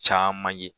Caman ye